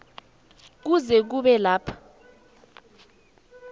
kuze kube kulapho